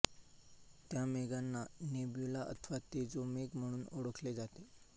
त्या मेघांना नेब्यूला अथवा तेजोमेघ म्हणून ओळखले जाते